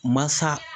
Masa